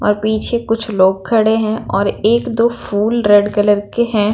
और पीछे कुछ लोग खड़े हैं और एक दो फूल रेड कलर के हैं।